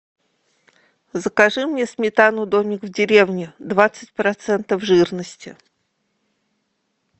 закажи мне сметану домик в деревне двадцать процентов жирности